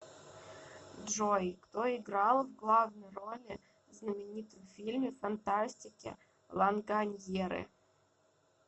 джой кто играл в главнои роли знаменитом фильме фантастике ланганьеры